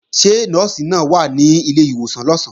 Ṣé Nọ́ọ̀sì náà wà ní ilé ìwòsàn lọ̀sán?